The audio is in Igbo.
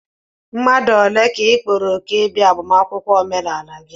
mmadụ ole ka ị kpọrọ òkù ịbịa agbamakwụkwọ omenala gị?